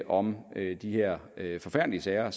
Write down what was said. om de her her forfærdelige sager